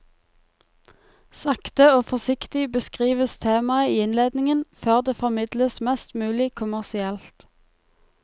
Sakte og forsiktig beskrives temaet i innledningen, før det formidles mest mulig kommersielt.